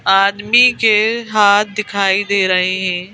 आदमी के हाथ दिखाई दे रहे हैं--